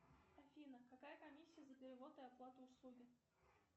афина какая комиссия за перевод и оплату услуги